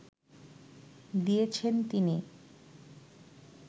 দিয়েছেন তিনি